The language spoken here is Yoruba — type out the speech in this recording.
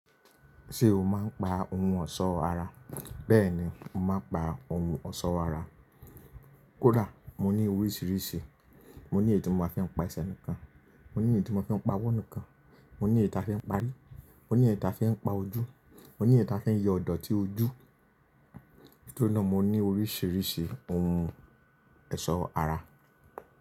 Ṣé o máa ń pa ohun ọ̀ṣọ́ ara? Bẹ́ẹ̀ni, mo máa ń pa ohun ọ̀ṣọ́ ara. Kódà mo ní oríṣìíríṣìí, mo ní èyí tí mo máa fí ń pa ẹsẹ̀ nìkan, mo ní èyí tí mo máa ń pa ọwọ́ nìkan, mo ní èyí tí a fi ń pa rí, mo ní èyí tí a fi ń pa ojú, mo ní èyí tí a fi ń yọ idọ̀tí ojú, nitori náà mo ní oríṣìíríṣìí ohun eṣọ́ ara.